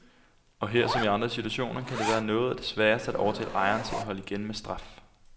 Og her, som i andre situationer, kan det være noget af det sværeste at overtale ejeren til at holde igen med straf.